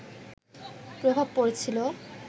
প্রভাব পড়েছিলো